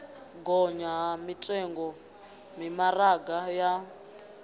gonya ha mitengo mimaraga ya